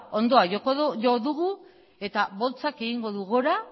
hondoa jo dugu eta boltsak egingo du gora